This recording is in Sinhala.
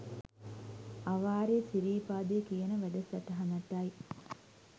අවාරේ සිරිපාදේ කියන වැඩ සටහනටයි